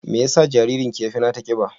Me yasa jaririnki ya fi nata ƙiba?